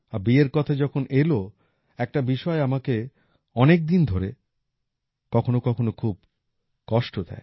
আর বিয়ের কথা যখন এলো একটা বিষয় আমাকে অনেক দিন ধরে কখনো কখনো খুব কষ্ট দেয়